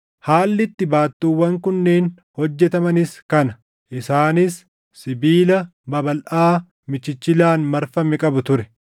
Haalli itti baattuuwwan kunneen hojjetamanis kana: Isaanis sibiila babalʼaa michichilaan marfame qabu ture.